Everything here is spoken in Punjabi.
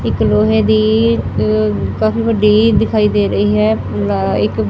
ਇੱਕ ਲੋਹੇ ਦੀ ਕਾਫੀ ਵੱਡੀ ਦਿਖਾਈ ਦੇ ਰਹੀ ਹੈ ਇੱਕ --